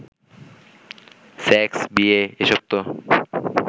sex, বিয়ে, এসব তো